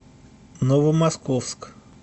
новомосковск